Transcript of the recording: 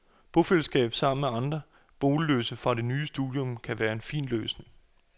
Bofællesskab sammen med andre boligløse fra det nye studium kan være en fin løsning.